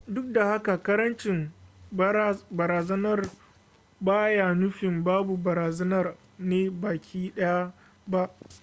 duk da haka karancin barazanar ba yana nufin babu barazanar ne baki daya ba